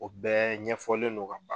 O bɛɛ ɲɛfɔlen no ka